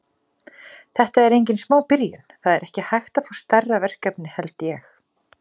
Þetta er engin smá byrjun, það er ekki hægt að fá stærra verkefni held ég.